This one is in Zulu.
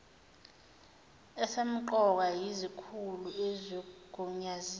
esempqoka yezikhulu ezigunyanziwe